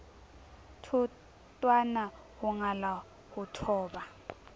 thotwana ho ngala ho thoba